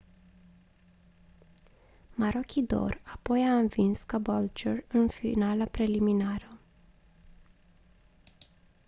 maroochydore apoi a învins caboolture în finala preliminară